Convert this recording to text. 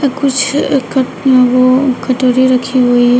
कुछ ओ कटोरी रखी हुई है।